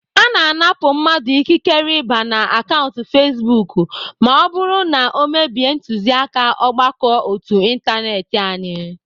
Ana anapụ mmadụ ikikere ịba na akaụntụ fezbuk ma ọ bụrụ na ọ mebie ntuziaka ọgbakọ ótú ịntanetị anyị